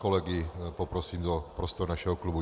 Kolegy poprosím do prostor našeho klubu.